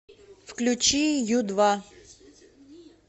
включи ю два